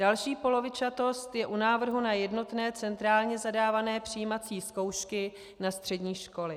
Další polovičatost je u návrhu na jednotné centrálně zadávané přijímací zkoušky na střední školy.